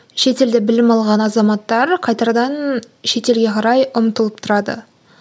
шетелде білім алған азаматтар қайтардан шетелге қарай ұмтылып тұрады